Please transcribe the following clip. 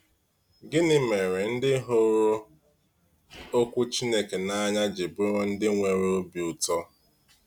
Gịnị mere ndị hụrụ Okwu Chineke n’anya ji bụrụ ndị nwere obi ụtọ?